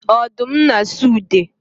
Odum na asụ ude